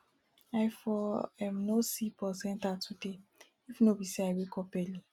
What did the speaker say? i for um no see bus enter today if no be say i wake up early